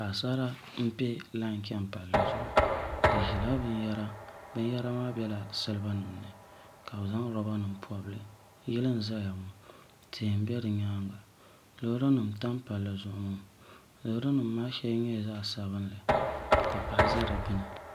Paɣasara n piɛ lai chɛni palli zuɣu bi ʒila binyɛra binyɛra maa biɛla siliba nim ni ka bi zaŋ roba nim pobili yili n ʒɛya ŋɔ tihi n bɛ di nyaanga loori nim n tam palli zuɣu ŋɔ loori nim maa shɛli nyɛla zaɣ sabinli ka paɣa ʒɛ di puuni